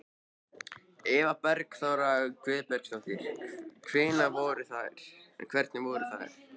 Eva Bergþóra Guðbergsdóttir: Hvernig voru þær?